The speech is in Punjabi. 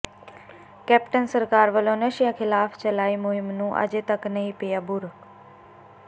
ਕੈਪਟਨ ਸਰਕਾਰ ਵੱਲੋਂ ਨਸ਼ਿਆਂ ਖਿਲਾਫ਼ ਚਲਾਈ ਮੁਹਿੰਮ ਨੂੰ ਅਜੇ ਤੱਕ ਨਹੀਂ ਪਿਆ ਬੂਰ